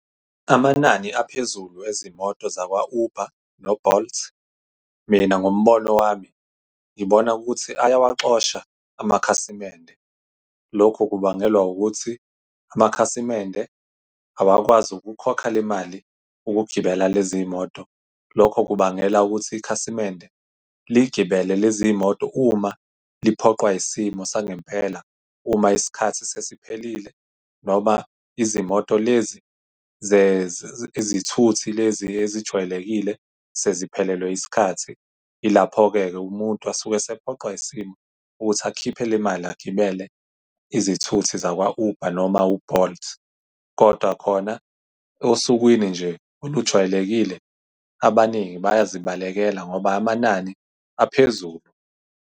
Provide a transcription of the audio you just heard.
Amanani aphezulu ezimoto zakwa-Uber no-Bolt, mina ngombono wami ngibona ukuthi ayawaxoshwa amakhasimende. Lokhu kubangelwa ukuthi amakhasimende awakwazi ukukhokha le mali ukugibela lezi moto, lokho kubangela ukuthi ikhasimende ligibele lezi moto uma liphoqwa isimo sangempela. Uma isikhathi sesiphelile noma izimoto lezi izithuthi lezi ezijwayelekile seziphelelwe isikhathi, ilapho-ke-ke umuntu asuke esephoqwa isimo ukuthi akhiphe le mali agibele izithuthi zakwa-Uber noma u-Bolt, kodwa khona osukwini nje olujwayelekile, abaningi bayazibalekela ngoba amanani aphezulu.